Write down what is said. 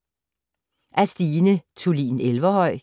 Af Stine Thulin Everhøj